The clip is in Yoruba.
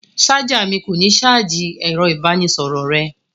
Ṣáj mi kò ní ṣáájì ẹ̀rọ-ìbánisọ̀rọ̀ rẹ.